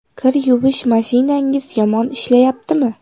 Kir yuvish mashinangiz yomon ishlayaptimi?